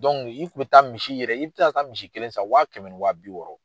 i kun bɛ taa misi yɛrɛ i bi se ka taa misi kelen san wa kɛmɛ ni wa bi wɔɔrɔ.